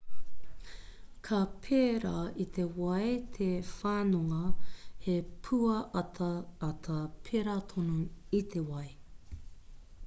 ka pērā i te wai te whanonga he pūataata pērā tonu i te wai